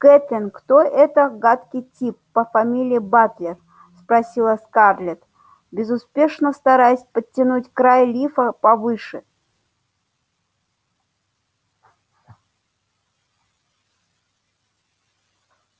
кэтлин кто это гадкий тип по фамилии батлер спросила скарлетт безуспешно стараясь подтянуть край лифа повыше